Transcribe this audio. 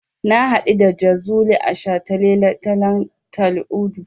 Na haɗu da Jazuli a shataletalen Tal'udu.